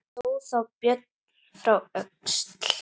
Hló þá Björn frá Öxl.